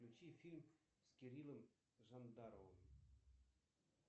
включи фильм с кириллом жандаровым